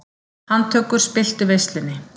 Handtökur spilltu veislunni